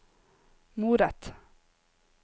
moret